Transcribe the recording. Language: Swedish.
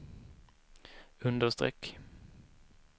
understreck